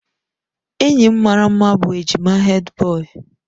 Enyi m maara mma bụ ejima Hèdbọyi.